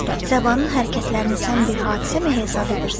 Səbanın hərəkətlərini sən bir hadisəmi hesab edirsən?